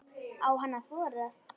Á hann að þora?